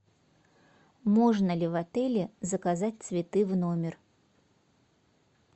можно ли в отеле заказать цветы в номер